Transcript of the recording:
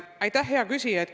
Aitäh, hea küsija!